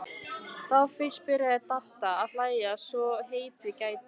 Þá fyrst byrjaði Dadda að hlæja svo heitið gæti.